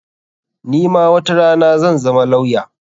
Ni ma watarana zan zama lawya.